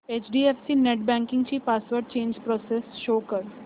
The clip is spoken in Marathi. एचडीएफसी नेटबँकिंग ची पासवर्ड चेंज प्रोसेस शो कर